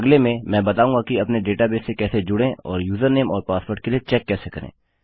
अगले में मैं बताऊँगा कि अपने डेटाबेस से कैसे जुड़ें और यूजरनेम और पासवर्ड के लिए चेक कैसे करें